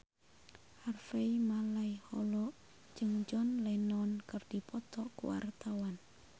Harvey Malaiholo jeung John Lennon keur dipoto ku wartawan